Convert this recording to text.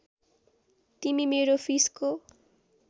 तिमी मेरो फिसको